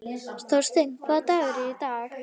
Þorsteina, hvaða dagur er í dag?